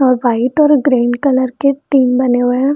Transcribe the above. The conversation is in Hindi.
और वाइट और ग्रीन कलर के टीन बने हुए हैं।